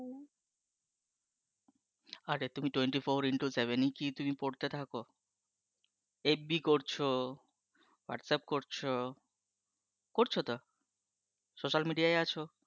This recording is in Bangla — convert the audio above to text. আরে তুমি twenty four into seven কি তুমি পড়তে থাকো, FB করছো Whatsapp করছো করছো তো? social media আছো?